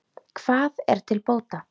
Hvað er til bóta?